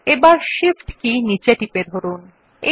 এখন শিফট কি নীচে চেপে ধরুন